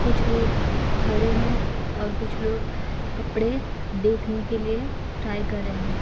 कुछ लोग खड़े है और कुछ लोग कपड़े देखने के लिए ट्राई कर रहे है।